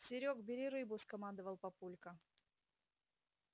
серёг бери рыбу скомандовал папулька